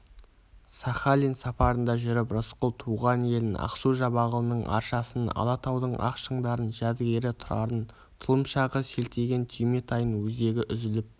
сахалин сапарында жүріп рысқұл туған елін ақсу-жабағылының аршасын алатаудың ақ шыңдарын жәдігері тұрарын тұлымшағы селтиген түйметайын өзегі үзіліп